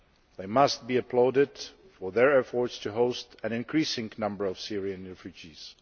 They must be applauded for their efforts to host an increasing number of Syrian refugees.